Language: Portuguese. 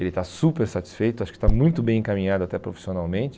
Ele está super satisfeito, acho que está muito bem encaminhado até profissionalmente.